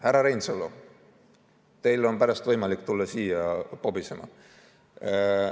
Härra Reinsalu, teil on pärast võimalik tulla siia pobisema.